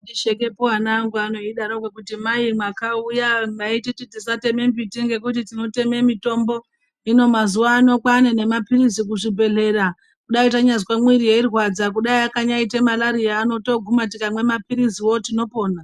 Shekepo ana angu ano eidarokwo kuti mai mwakauya maititi tisateme mbiti ngekuti tinoteme mitombo hino mazuwa ano kwaane nemapirizi kuzvibhedhlera dai tanyazwe mwiri yeirwadza kudai yakanyaite malariya ano toguma tikamwe mapiliziwo tinopona.